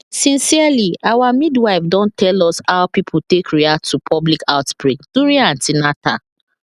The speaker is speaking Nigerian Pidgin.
sincerely our midwife don tell us how people take react to public outbreak during an ten atal